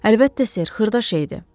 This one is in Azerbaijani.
Əlbəttə, Ser, xırda şeydir.